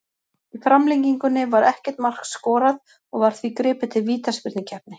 Í framlengingunni var ekkert mark skorað og var því gripið til vítaspyrnukeppni.